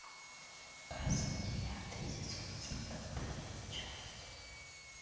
касл девятый сезон сороковая часть